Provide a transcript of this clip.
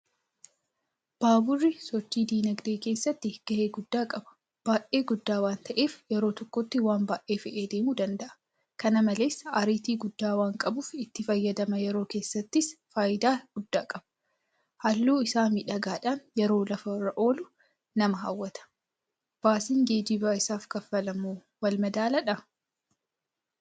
Baaburri sochii diinagdee keessatti gahee guddaa qaba. Baay'ee guddaa waanta'eef yeroo tokkotti waanbaay'ee fe'ee deemuu danda'a. Kana malees Ariitii guddaa waanqabuuf itti fayyadama yeroo keessattis faayidaa guddaa qaba. Halluu isaa miidhagaadhaan yeroo lafarra lo'u nama hawwata. Baasiin geejiba isaaf kanfalamuwoo walmadaalaadhaa?